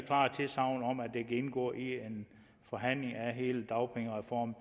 kan indgå i en forhandling af hele dagpengereformen